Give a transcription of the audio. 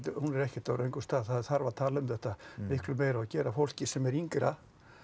hún er ekkert á röngum stað það þarf að tala um þetta miklu meira og gera fólki sem er yngra